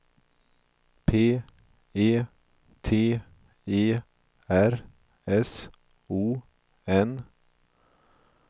P E T E R S O N